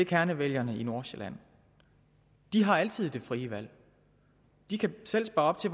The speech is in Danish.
kernevælgerne i nordsjælland har altid det frie valg de kan selv spare op til